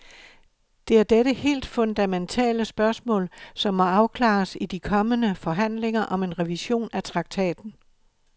Det er dette helt fundamentale spørgsmål, som må afklares i de kommende forhandlinger om en revision af traktaten.